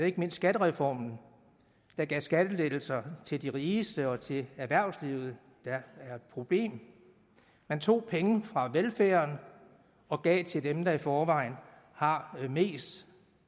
ikke mindst skattereformen der gav skattelettelser til de rigeste og til erhvervslivet der er et problem man tog penge fra velfærden og gav til dem der i forvejen har mest